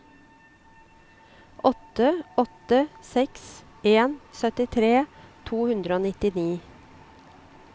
åtte åtte seks en syttitre to hundre og nittini